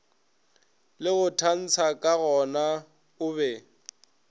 le go tantsha kagona obe